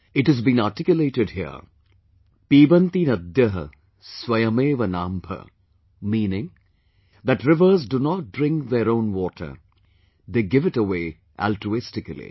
It has been articulated here Pibanti Naddhah, Swayameva Naambha...meaning that rivers do not drink their own water...they give it away altruistically